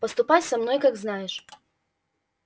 поступай со мной как знаешь